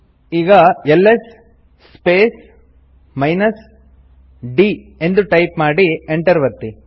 ಈಗ L S space minus d ಎಂದು type ಮಾಡಿ ಎಂಟರ್ ಒತ್ತಿ